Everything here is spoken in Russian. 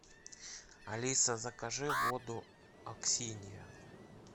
алиса закажи воду аксинья